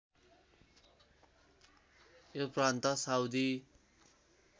यो प्रान्त साउदी